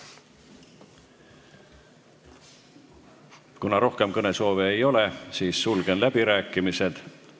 Kuna rohkem kõnesoove ei ole, siis sulgen läbirääkimised.